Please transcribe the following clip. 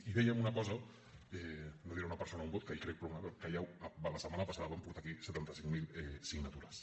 i dèiem una cosa no diré una persona un vot que hi crec però que la setmana passada vam portar aquí setanta cinc mil signatures